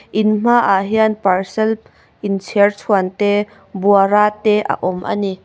in hmaah hian parcel inchherchhuan te buara te a awm a ni.